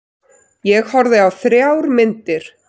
Ég horfði á þrjár myndir.